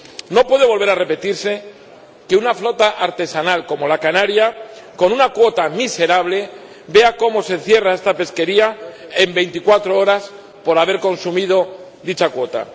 No puede volver a repetirse que una flota artesanal, como la canaria, con una cuota miserable, vea cómo se cierra esta pesquería en 24 horas, por haber consumido dicha cuota.